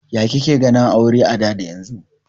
Ya ka ke ganin aure a da da yanzu?